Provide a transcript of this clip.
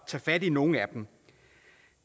tage fat i nogle af dem